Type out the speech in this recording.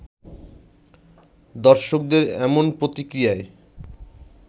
দর্শকদের এমন প্রতিক্রিয়ায়